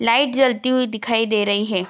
Light जलती हुई दिखाई दे रही है।